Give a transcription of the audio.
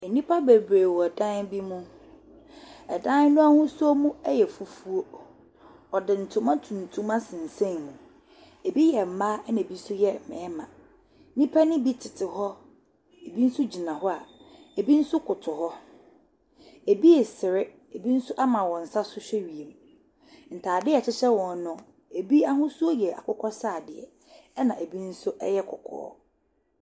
Nnipa bebree wɔ dan bi mu, dan no ahosuo no yɛ fufuo, ɔde ntoma tuntum asensɛn mu, bi yɛ mmaa na bi nso yɛ mmarima. Nnipa ne bi tete hɔ, bi nso gyina hɔ a bi nso koto hɔ. bi resere, bi nso ama wɔn nsa so hwɛ wiem. Ntaadeɛ a ɛhyehyɛ wɔn no, bi ahosuo yɛ akokɔsradeɛ na bi nso yɛ kɔkɔɔ.